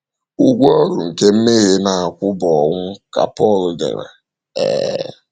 “ Ụgwọ ọrụ nke mmehie na - akwụ bụ ọnwụ, ” ka Pọl dere. um